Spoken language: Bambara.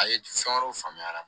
A ye fɛn wɛrɛw faamuya a la